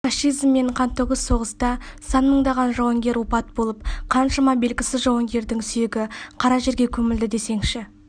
фашизммен қантөгіс соғыста сан мыңдаған жауынгер опат болып қаншама белгісіз жауынгердің сүйегі қара жерге көмілді десеңізші